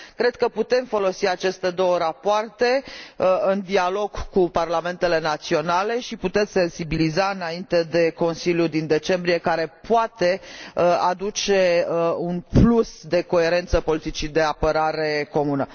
Cred că putem folosi aceste două rapoarte în dialog cu parlamentele naționale și putem sensibiliza înainte de Consiliul din decembrie, care poate aduce un plus de coerență politicii de apărare comună.